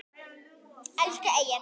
Elsku Egill.